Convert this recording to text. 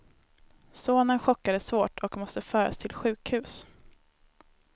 Sonen chockades svårt och måste föras till sjukhus.